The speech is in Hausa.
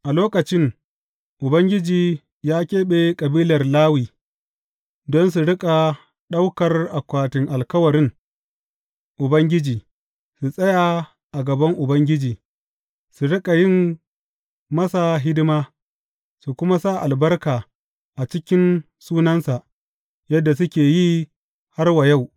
A lokacin Ubangiji ya keɓe kabilar Lawi don su riƙa ɗaukar akwatin alkawarin Ubangiji, su tsaya a gaban Ubangiji, su riƙa yin masa hidima, su kuma sa albarka a cikin sunansa, yadda suke yi har wa yau.